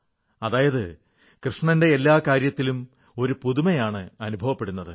അതായത് കൃഷ്ണന്റെ എല്ലാ കാര്യത്തിലും ഒരു പുതുമായാണ് അനുഭവപ്പെടുന്നത്